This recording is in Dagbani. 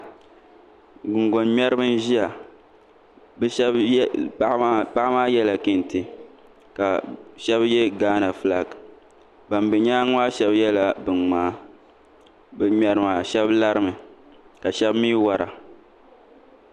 Gungoŋ ŋmɛribi n ʒiya paɣa maa yɛla kɛntɛ ka shab yɛ gaana fulak ban bɛ nyaangi maa shab yɛla bin ŋmaa bin ŋmɛri maa shab larimi ka shab mii wora